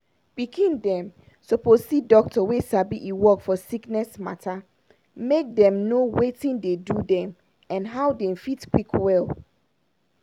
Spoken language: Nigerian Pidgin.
pikin dem suppose see doctor wey sabi e work for sickness matter make dem know watin dey do dem and how dem fit quick well.